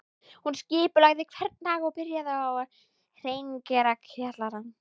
Hún skipulagði hvern dag og byrjaði á að hreingera kjallarann